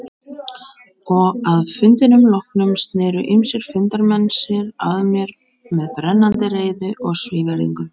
Og að fundinum loknum sneru ýmsir fundarmenn sér að mér með brennandi reiði og svívirðingum.